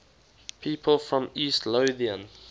people from east lothian